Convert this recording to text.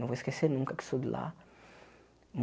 Não vou esquecer nunca que sou de lá.